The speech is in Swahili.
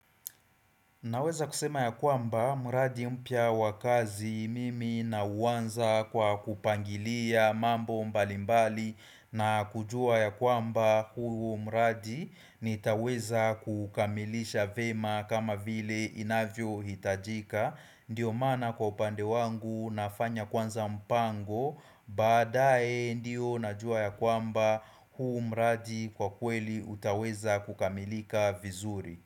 Naweza kusema ya kwamba, mradi mpya wakazi mimi nauanza kwa kupangilia mambo mbalimbali na kujua ya kwamba huu mradi nitaweza kukamilisha vema kama vile inavyo hitajika. Ndiyo maana kwa upande wangu nafanya kwanza mpango, baadae ndio najua ya kwamba huu mradi kwa kweli utaweza kukamilika vizuri.